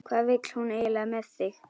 Hvað vill hún eiginlega með þig?